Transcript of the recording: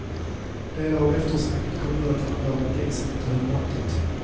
Delar av eftersnacket kom nu att handla om att isen inte höll måttet.